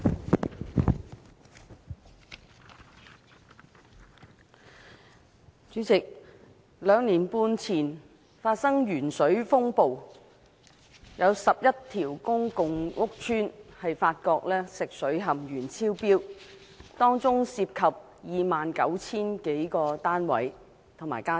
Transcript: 代理主席，兩年半前發生鉛水風暴，有11個公共屋邨發現食水含鉛超標，當中涉及 29,000 多個單位和家庭。